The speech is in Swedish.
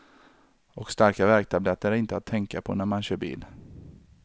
Och starka värktabletter är inte att tänka på när man kör bil.